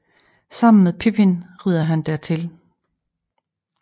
Sammen med Pippin rider han dertil